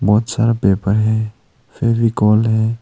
बहोत सारा पेपर है फेविकोल है।